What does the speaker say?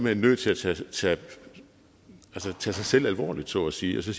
er nødt til at tage sig tage sig selv alvorligt så at sige